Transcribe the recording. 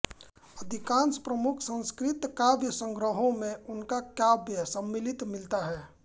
अधिकांश प्रमुख संस्कृत काव्यसंग्रहों में उनका काव्य सम्मिलित मिलता है